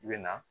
I bɛ na